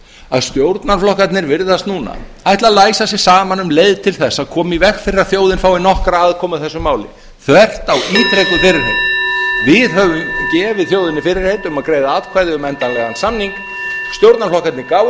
að stjórnarflokkarnir virðast núna ætla að læsa sig saman um leið til að koma í veg fyrir að þjóðin fái nokkra aðkomu að þessu máli þvert á ítrekuð fyrirheit við höfum gefið þjóðinni fyrirheit um að greiða atkvæði um endanlegan samning stjórnarflokkarnir gáfu